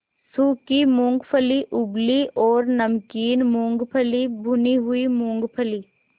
सूखी मूँगफली उबली और नमकीन मूँगफली भुनी हुई मूँगफली